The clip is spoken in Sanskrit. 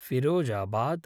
फिरोजाबाद्